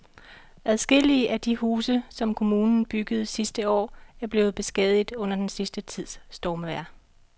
Adskillige af de huse, som kommunen byggede sidste år, er blevet beskadiget under den sidste tids stormvejr.